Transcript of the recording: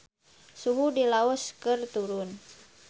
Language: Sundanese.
Suhu di Laos keur turun